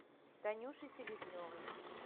танюше селезневой